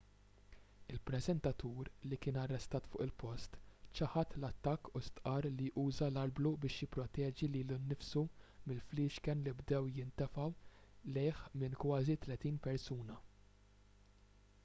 il-preżentatur li kien arrestat fuq il-post ċaħad l-attakk u stqarr li uża l-arblu biex jipproteġi lilu nnifsu mill-fliexken li bdew jintefgħu lejh minn kważi tletin persuna